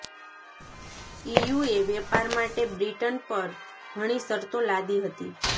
EU વેપાર માટે Britain પર ઘણી શરતો લાદી હતી